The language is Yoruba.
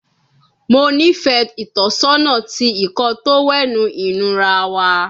Mo nifẹ itọsọna ti Ìkọ́ọ tówẹ́ẹ̀nù inura wa